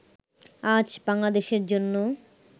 আজ বাংলাদেশের জন্যে